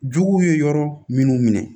Juguw ye yɔrɔ minnu minɛ